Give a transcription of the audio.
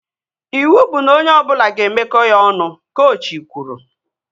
Iwu bụ na onye ọbụla ga-emeko ya ọnụ! Kochi kwuru